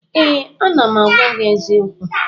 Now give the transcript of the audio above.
Ee, ana m agwa gị eziokwu